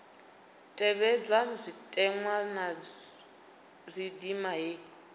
tevhedzwa zwitenwa zwa ndima heyi